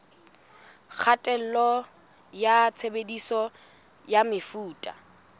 kgatello ya tshebediso ya mefuta